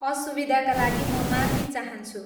असुविधाका लागि म माफी चाहन्छु।